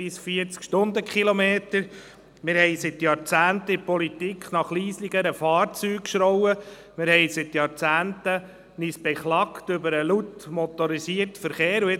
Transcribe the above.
Die alternativen Antriebe sollten gefördert werden, weil es nötig und sinnvoll ist.